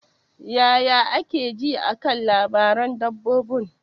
Yaya kake ji a kan labaran dabarun?